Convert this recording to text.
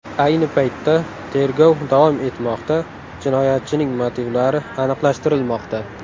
Ayni paytda tergov davom etmoqda, jinoyatchining motivlari aniqlashtirilmoqda.